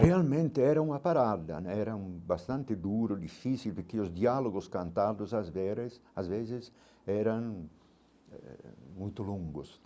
Realmente era uma parada né, era um bastante duro, difícil, porque os diálogos cantados às vezes eram eh muito longos.